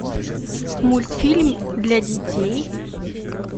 мультфильм для детей